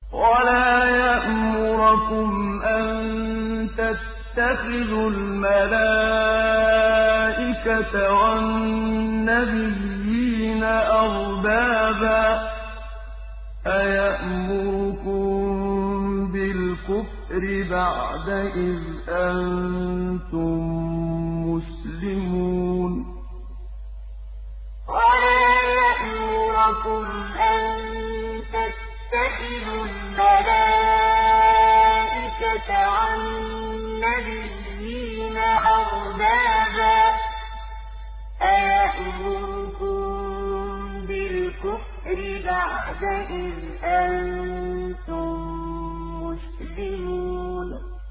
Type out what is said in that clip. وَلَا يَأْمُرَكُمْ أَن تَتَّخِذُوا الْمَلَائِكَةَ وَالنَّبِيِّينَ أَرْبَابًا ۗ أَيَأْمُرُكُم بِالْكُفْرِ بَعْدَ إِذْ أَنتُم مُّسْلِمُونَ وَلَا يَأْمُرَكُمْ أَن تَتَّخِذُوا الْمَلَائِكَةَ وَالنَّبِيِّينَ أَرْبَابًا ۗ أَيَأْمُرُكُم بِالْكُفْرِ بَعْدَ إِذْ أَنتُم مُّسْلِمُونَ